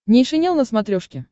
нейшенел на смотрешке